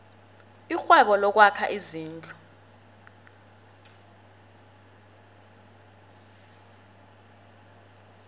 irhwebo lokwakha izindlu